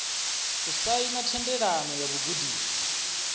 u saina thendelano ya vhugudisi